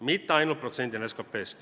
Mitte ainult protsendina SKP-st.